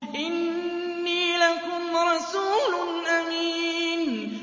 إِنِّي لَكُمْ رَسُولٌ أَمِينٌ